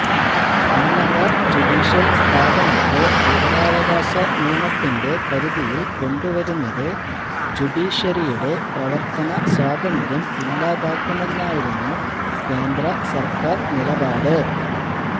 ഉന്നത ജുഡീഷ്യല് സ്ഥാപനത്തെ വിവരാവകാശനിയമത്തിന്റെ പരിധിയില് കൊണ്ടുവരുന്നത് ജുഡീഷ്യറിയുടെ പ്രവര്ത്തന സ്വാതന്ത്ര്യം ഇല്ലാതാക്കുമെന്നായിരുന്നു കേന്ദ്രസര്ക്കാര് നിലപാട്